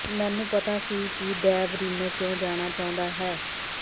ਮੈਨੂੰ ਪਤਾ ਸੀ ਕਿ ਡੇਵ ਰੀਨੋ ਕਿਓ ਜਾਣਾ ਚਾਹੁੰਦਾ ਹੈ